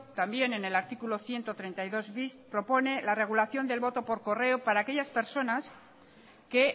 también en el artículo ciento treinta y dos bis propone la regulación del voto por correo para aquellas personas que